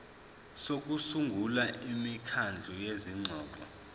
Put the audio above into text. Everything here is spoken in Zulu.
sokusungula imikhandlu yezingxoxo